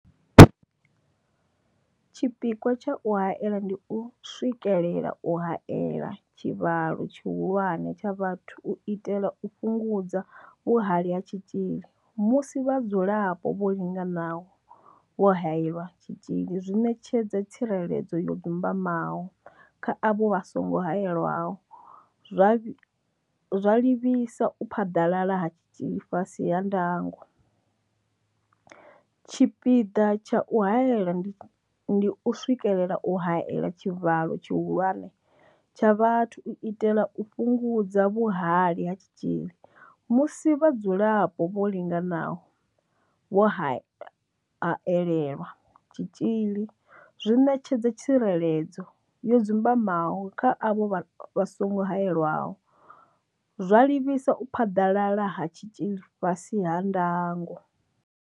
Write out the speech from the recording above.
Tshipikwa tsha u haela ndi u swikelela u haela tshivhalo tshihulwane tsha vhathu u itela u fhungudza vhuhali ha tshitzhili musi vhadzulapo vho linganaho vho haelelwa tshitzhili zwi ṋetshedza tsireledzo yo dzumbamaho kha avho vha songo haelwaho, zwa livhisa u phaḓalala ha tshitzhili fhasi ha ndango. Tshipiḓa tsha u haela ndi u swikelela u haela tshivhalo tshihulwane tsha vhathu u itela u fhungudza vhuhali ha tshitzhili musi vhadzulapo vho linganaho vho haelelwa tshitzhili zwi ṋetshedza tsireledzo yo dzumbamaho kha avho vha songo haelwaho, zwa livhisa u phaḓalala ha tshitzhili fhasi ha ndango.